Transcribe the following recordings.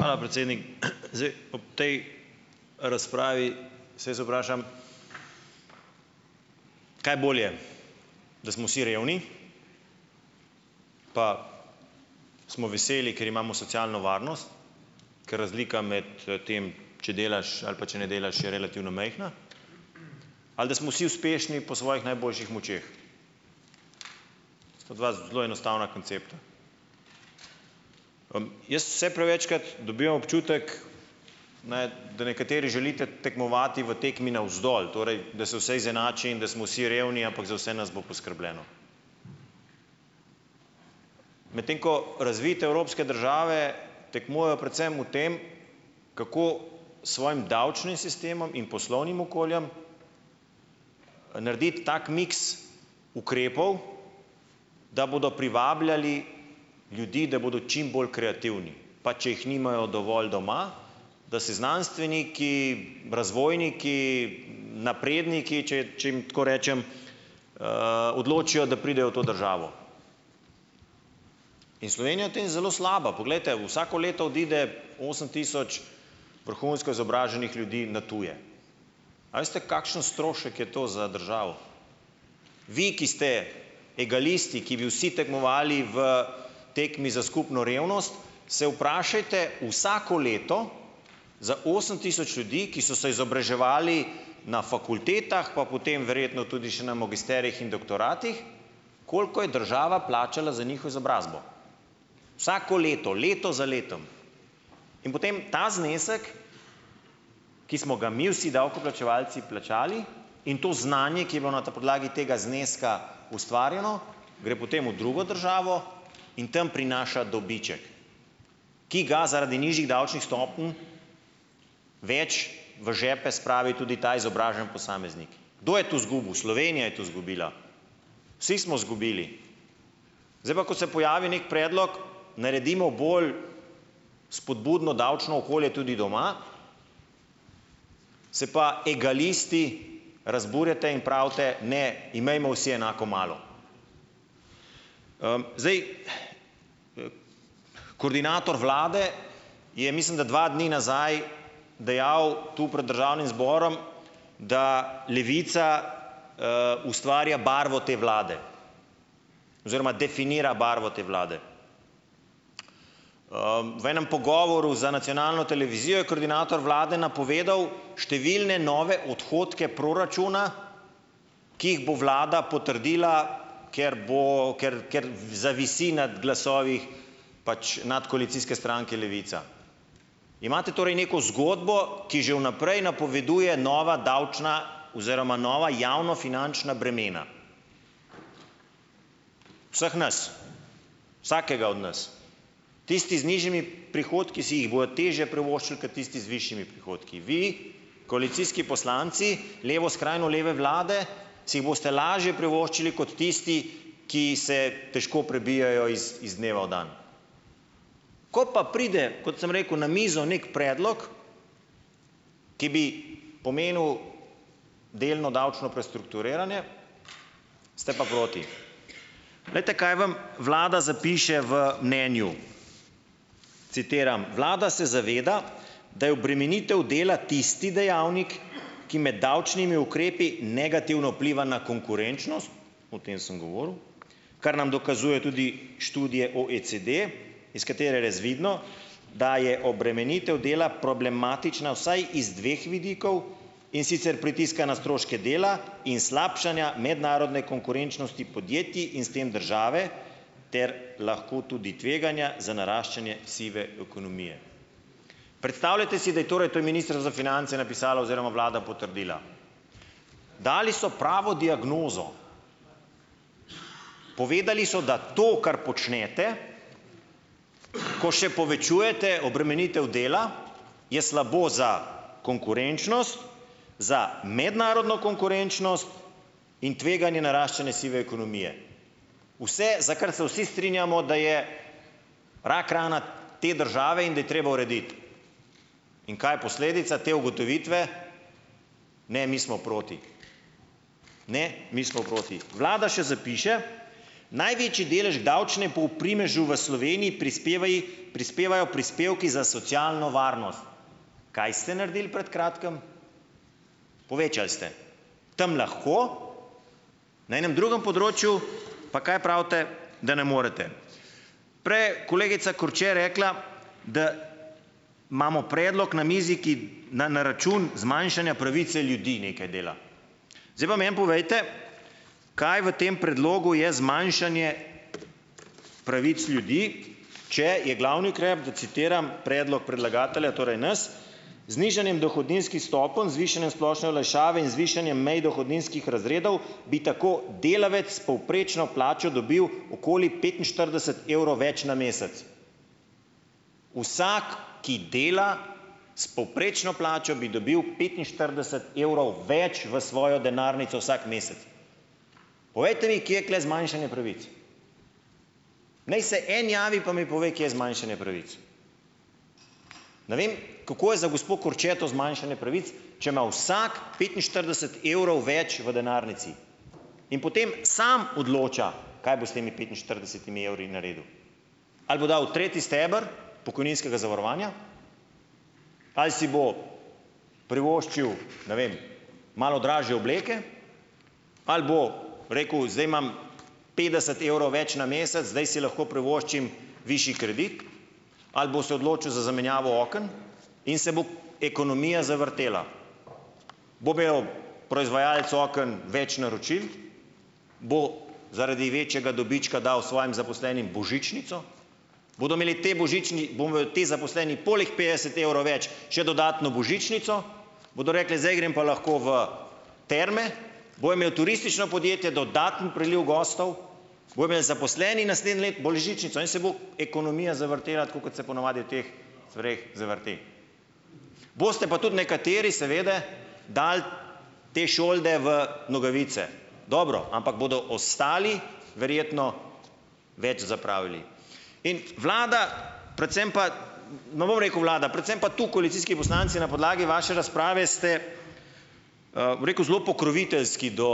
Hvala, predsednik. Zdaj ob tej razpravi se jaz vprašam, kaj je bolje, da smo vsi revni pa smo veseli, ker imamo socialno varnost, ker razlika med tem, če delaš ali pa če ne delaš, je relativno majhna, ali da smo vsi uspešni po svojih najboljših močeh. To sta dva zelo enostavna koncepta. Jaz vse prevečkrat dobivam občutek, da nekateri želite tekmovati v tekmi navzdol, torej da se vse izenači in da smo vsi revni, ampak za vse nas bo poskrbljeno, medtem ko razvite evropske države tekmujejo predvsem v tem, kako s svojim davčnim sistemom in poslovnim okoljem narediti tak miks ukrepov, da bodo privabljali ljudi, da bodo čim bolj kreativni, pa če jih nimajo dovolj doma, da se znanstveniki, razvojniki, napredniki, če, če jim tako rečem, odločijo, da pridejo v to državo. In Slovenija je v tem zelo slaba. Poglejte, vsako leto odide osem tisoč vrhunsko izobraženih ljudi na tuje. A veste, kakšen strošek je to za državo? Vi, ki ste egalisti, ki bi vsi tekmovali v tekmi za skupno revnost, se vprašajte vsako leto za osem tisoč ljudi, ki so se izobraževali na fakultetah, pa potem verjetno tudi še na magisterijih in doktoratih, koliko je država plačala za izobrazbo, vsako leto, leto za letom. In potem ta znesek, ki smo ga mi vsi davkoplačevalci plačali, in to znanje, ki je bilo na podlagi tega zneska ustvarjeno, gre potem v drugo državo in tam prinaša dobiček, ki ga zaradi nižjih davčnih stopenj več v žepe spravi tudi ta izobraženi posameznik. Kdo je tu zgubil? Slovenija je tu zgubila, vsi smo zgubili. Zdaj pa, ko se pojavi nek predlog, naredimo bolj spodbudno davčno okolje tudi doma, se pa egalisti razburjate in pravite, ne, imejmo vsi enako malo. Zdaj, koordinator vlade je, mislim da dva dni nazaj dejal tu prej Državnim zborom, da Levica ustvarja barvo te vlade oziroma definira barvo te vlade. v enem pogovoru za nacionalno televizijo je koordinator vlade napovedal številne nove odhodke proračuna, ki jih bo vlada potrdila, ker bo, ker, ker, zavisi nad glasovi pač nadkoalicijske stranke Levica. Imate torej neko zgodbo, ki že vnaprej napoveduje nova davčna oziroma nova javnofinančna bremena vseh nas, vsakega od nas. Tisti z nižjimi prihodki si jih bojo težje privoščili kot tisti z višjimi prihodki. Vi, koalicijski poslanci levo, skrajno leve vlade, si boste lažje privoščili kot tisti, ki se težko prebijejo iz dneva v dan. Ko pa pride, kot sem rekel, na mizo neki predlog, ki bi pomenil delno davčno prestrukturiranje, ste pa proti. Glejte, kaj vam vlada zapiše v mnenju. Citiram: "Vlada se zaveda, da je obremenitev dela tisti dejavnik, ki med davčnimi ukrepi negativno vpliva na konkurenčnost - o tem sem govoril -, kar nam dokazuje tudi študija OECD, iz katere je razvidno, da je obremenitev dela problematična vsaj z dveh vidikov. In sicer pritiska na stroške dela in slabšanja mednarodne konkurenčnosti podjetij in s tem države ter lahko tudi tveganja za naraščanje sive ekonomije." Predstavljajte si, da je torej - to je Ministrstvo za finance napisalo oziroma vlada potrdila. Dali so pravo diagnozo. Povedali so, da to, kar počnete, ko še povečujete obremenitev dela, je slabo za konkurenčnost, za mednarodno konkurenčnost in tveganje naraščanje sive ekonomije. Vse, za kar se vsi strinjamo, da je rak rana te države in da je treba urediti. In kaj je posledica te ugotovitve? Ne, mi smo proti. Ne, mi smo proti. Vlada še zapiše: "Največji delež k primežu v Sloveniji prispevaji prispevajo prispevki za socialno varnost. Kaj ste naredili pred kratkim? Povečali ste. Tam lahko, na enem drugem področju - pa kaj pravite? Da ne morete. Prej je kolegica Korče rekla, da imamo predlog na mizi, ki na, na račun zmanjšanja pravice ljudi nekaj dela. Zdaj pa meni povejte, kaj v tem predlogu je zmanjšanje pravic ljudi, če je glavni ukrep, da citiram, predlog predlagatelja - torej nas - z nižanjem dohodninskih stopenj, z višanjem splošne olajšave in z višanjem mej dohodninskih razredov bi tako delavec s povprečno plačo dobil okoli petinštirideset evrov več na mesec. Vsak, ki dela s povprečno plačo, bi dobil petinštirideset evrov več v svojo denarnico vsak mesec. Povejte mi, kje je tule zmanjšanje pravic. Naj se en javi pa mi pove, kje je zmanjšanje pravic. Ne vem, kako je za gospo Korče to zmanjšanje pravic, če ima vsak petinštirideset evrov več v denarnici. In potem samo odloča, kaj bo s temi petinštiridesetimi evri naredil. Ali bo dal v tretji steber pokojninskega zavarovanja ali si bo privoščil, ne vem, malo dražje obleke ali bo rekel: "Zdaj imam petdeset evrov več na mesec, zdaj si lahko privoščim višji kredit." Ali bo se odločil za zamenjavo oken in se bo ekonomija zavrtela. Bo imel proizvajalec oken več naročil, bo zaradi večjega dobička dal svojim zaposlenim božičnico. Bodo imeli ti božični ti zaposleni poleg petdeset evrov več še dodatno božičnico? Bodo rekli: "Zdaj grem pa lahko v terme." Bo imelo turistično podjetje dodaten priliv gostov. Bojo imeli zaposleni naslednje leto božičnico in se bo ekonomija zavrtela, tako kot se po navadi v teh stvareh zavrti. Boste pa tudi nekateri, seveda, dal te šolde v nogavice. Dobro. Ampak bodo ostali verjetno več zapravili. In vlada - predvsem pa - ne bom rekel vlada - predvsem pa tu koalicijski poslanci na podlagi vaše razprave ste, bom rekel, zelo pokroviteljski do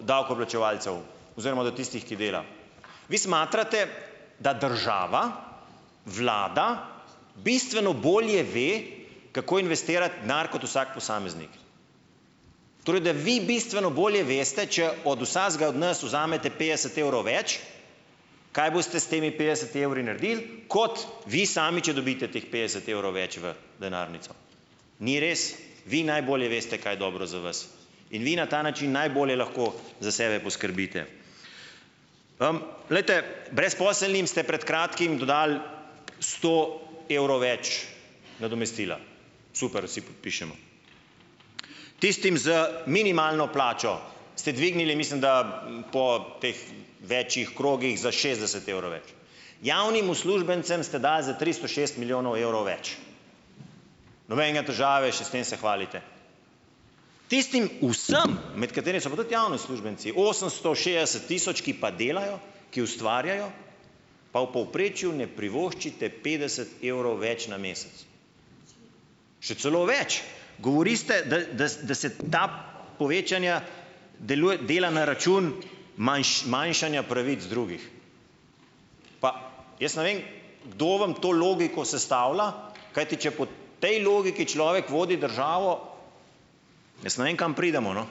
davkoplačevalcev. Oziroma do tistih, ki Vi smatrate, da država, vlada, bistveno bolje ve, kako investirati denar kot vsak posameznik. Torej da vi bistveno bolje veste, če od vsakega od nas vzamete petdeset evrov več, kaj boste s temi petdesetimi evri naredili, kot vi sami, če dobite teh petdeset evrov več v denarnico. Ni res. Vi najbolje veste, kaj je dobro za vas. In vi na ta način najbolje lahko za sebe poskrbite. Glejte, brezposelnim ste pred kratkim dodali sto evrov več nadomestila. Super, vsi podpišemo. Tistim z minimalno plačo ste dvignili, mislim da - po teh več krogih - za šestdeset evrov več. Javnim uslužbencem ste dali za tristo šest milijonov evrov več. Nobenega težave, še s tem se hvalite. Tistim vsem, med katerimi so pa tudi javni uslužbenci - osemsto šestdeset tisoč, ki pa delajo, ki ustvarjajo - pa v povprečju ne privoščite petdeset evrov več na mesec. Še celo več! Govorite, da, da, da se ta povečanja dela na račun manjšanja pravic drugih. Pa - jaz ne vem, kdo vam to logiko sestavlja, kajti če po tej logiki človek vodi državo - jaz ne vem, kam pridemo, no.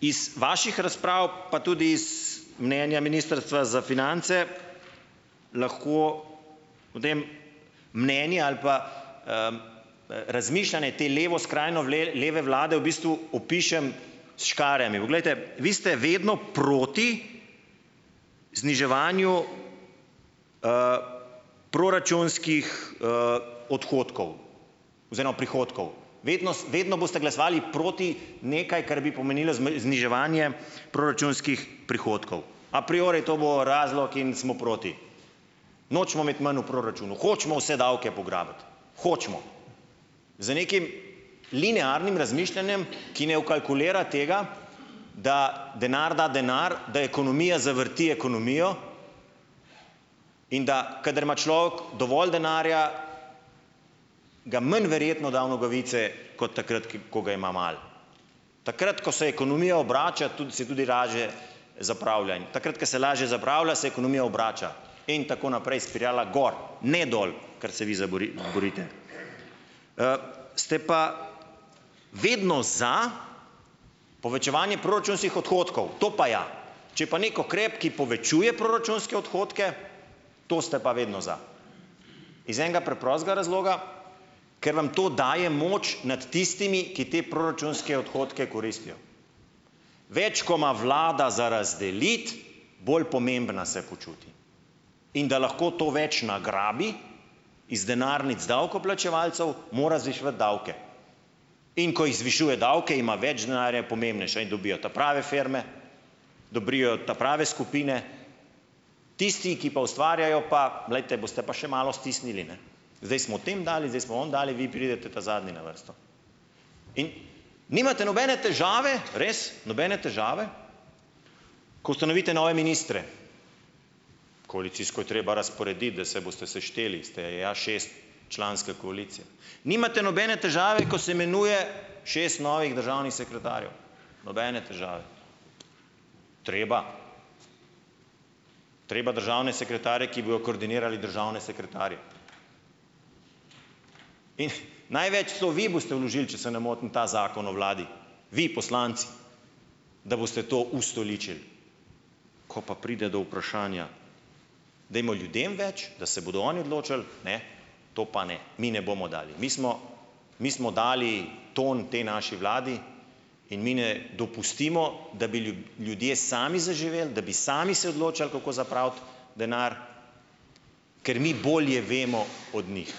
Iz vaših razprav pa tudi is mnenja Ministrstva za finance, lahko potem mnenje ali pa razmišljanje te levo, skrajno leve vlade v bistvu opišem s škarjami. Poglejte, vi ste vedno proti zniževanju proračunskih odhodkov oziroma prihodkov. Vedno boste glasovali proti nekaj, kar bi pomenilo zniževanje proračunskih prihodkov. A priori to bo razlog in smo proti. Nočemo imeti manj v proračunu, hočemo vse davke pograbiti. Hočemo. Z nekim linearnim razmišljanjem, ki ne vkalkulira tega, da denar da denar, da ekonomija zavrti ekonomijo, in da kadar ima človek dovolj denarja, ga manj verjetno da v nogavice kot takrat, ki, ko ga ima malo. Takrat ko se ekonomija obrača, tudi, se tudi lažje zapravlja in takrat ko se lažje zapravlja, se ekonomija obrača, in tako naprej, spirala gor, ne dol, kar se vi za borite. ste pa vedno za povečevanje proračunskih odhodkov. To pa ja. Če pa neki ukrep, ki povečuje proračunske odhodke, to ste pa vedno za. Iz enega preprostega razloga, ker vam to daje moč nad tistimi, ki te proračunske odhodke koristijo. Več ko ima vlada za razdeliti, bolj pomembna se počuti. In da lahko to več nagrabi, iz denarnic davkoplačevalcev, mora zviševati davke. In ko je zvišuje davke, ima več denarja, je pomembnejša in dobijo ta prave firme, dobrijo ta prave skupine, tisti, ki pa ustvarjajo, pa, glejte, boste pa še malo stisnili, ne. Zdaj smo tem dali, zdaj smo onim dali, vi pridete ta zadnji na vrsto. In nimate nobene težave, res, nobene težave, ko ustanovite nove ministre. Koalicijsko je treba razporediti, da se boste sešteli, ste ja šestčlanska koalicija. Nimate nobene težave, ko je imenuje šest novih državnih sekretarjev. Nobene težave. Treba. Treba državne sekretarje, ki bojo koordinirali državne sekretarje. In največ, celo vi boste vložili, če se ne motim, ta zakon o vladi, vi poslanci, da boste to ustoličili. Ko pa pride do vprašanja, dajmo ljudem več, da se bodo oni določali, ne, to pa ne, mi ne bomo dali, mi smo dali tam tej naši vladi in mi ne dopustimo, da bi ljudje sami zaživeli, da bi sami se odločali, kako zapraviti denar, ker mi bolje vemo od njih.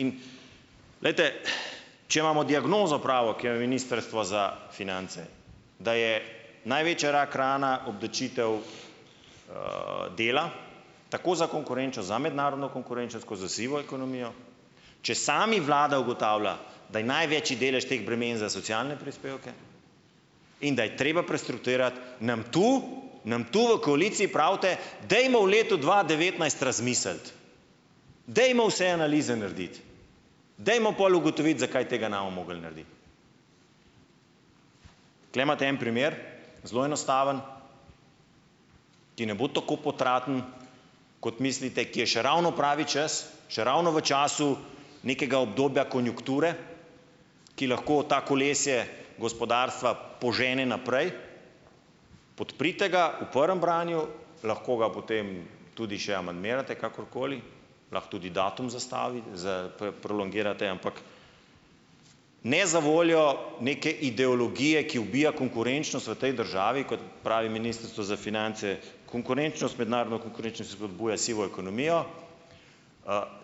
In ... Glejte, če imamo diagnozo pravo, ki jo je Ministrstvo za finance, da je največja rak rana obdavčitev dela, tako za konkurenčnost, za mednarodno konkurenčnost kot za sivo ekonomijo, če sami vlada ugotavlja, da je največji delež teh bremen za socialne prispevke, in da je treba prestrukturirati, nam tu, nam tu v koaliciji pravite, dajmo v letu dva devetnajst razmisliti, dajmo vse analize narediti, dajmo pol ugotoviti, zakaj tega ne bomo mogli narediti. Tukajle imate en primer, zelo enostaven, ki ne bo tako potraten kot mislite, ki je še ravno pravi čas, še ravno v času nekega obdobja konjunkture, ki lahko to kolesje gospodarstva požene naprej, podprite ga v prvem branju, lahko ga potem tudi še amandmirate, kakorkoli, lahko tudi datum z, prolongirate, ampak ne za voljo neke ideologije, ki ubija konkurenčnost v tej državi, kot pravi Ministrstvo za finance, konkurenčnost, mednarodno konkurenčnost, spodbuja sivo ekonomijo,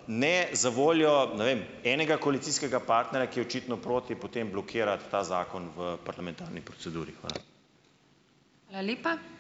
ne zavoljo, ne vem, enega koalicijskega partnerja, ki je očitno proti, potem blokirati ta zakon v parlamentarni proceduri. Hvala.